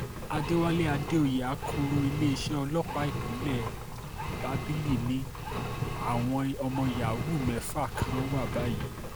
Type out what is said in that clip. àdẹ̀wálé àdèoyè akọ́lọ iléeṣẹ́ ọlọ́pàá ìpínlẹ̀ bábílì ni àwọn ọmọ yahoo mẹ́fà kan wà báyìí